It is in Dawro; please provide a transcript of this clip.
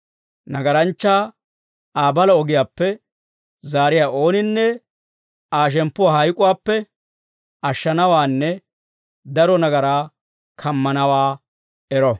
nagaranchchaa Aa balaa ogiyaappe zaariyaa ooninne Aa shemppuwaa hayk'uwaappe ashshanawaanne daro nagaraa kammanawaa ero.